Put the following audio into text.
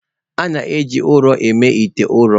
A na-eji ụrọ eme ite ụrọ.